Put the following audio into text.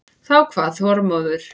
Þá kvað Þormóður